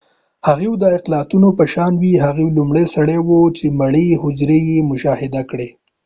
هفوۍ د اطاقونو په شان و هغه لومړنی سړی و چې مړې حجرې یې مشاهده کړې